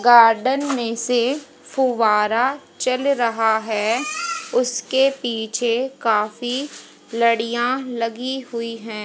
Garden में से फुव्वारा चल रहा है उसके पीछे काफी लड़ियां लगी हुई है।